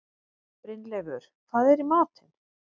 Brynleifur, hvað er í matinn?